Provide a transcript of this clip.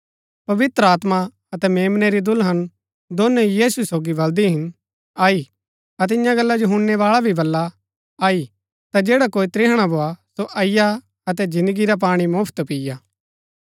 पवित्र आत्मा अतै मेम्नै री दुल्हन दोनो यीशु सोगी बलदी हिन आई अतै इन्या गल्ला जो हुणनैबाळा भी बला आई ता जैडा कोई त्रिहणा भोआ सो अईआ अतै जिन्दगी रा पाणी मुफ्‍त पिआ